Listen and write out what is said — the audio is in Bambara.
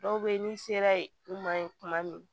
Dɔw bɛ yen n'i sera u ma ye tuma min